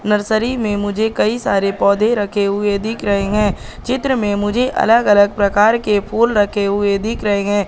Nursery में मुझे कई सारे पौधे रखे हुए दिख रहे हैं चित्र में मुझे अलग-अलग प्रकार के फूल रखे हुए दिख रहे हैं।